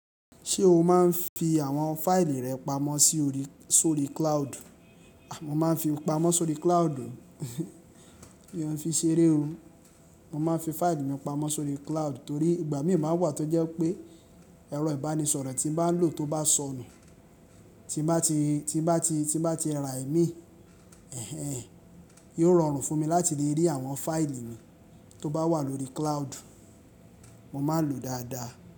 Ṣé o máa ń fi àwọn fáìlì rẹ pamọ́ sóri cloud? Mo máa ń fi pamọ́ sórí cloud, mi o ń fi ṣeré o. Mo máa ń fi fáìlì mi pamọ́ sóri cloud torí ìgbà míì máa n wà tó jẹ́ pé ẹ̀rọ ìbánisọ̀rọ̀ tí mo bá ń lò tó bá sọnù tí bá ti, tí bá ti, tí bá ti rà mí, ẹh ẹh, yóò rọrùn fún mi láti lè rí àwọn fáìlì mi tó bá wà lórí cloud. Mo máa ń lò ó dáadáa.